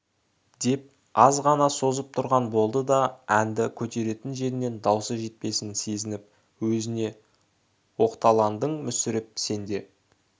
деп азғана созып тұрған болды да әнді көтеретін жеріне даусы жетпесін сезініп өзіне өзіноқталандың мүсіреп сен де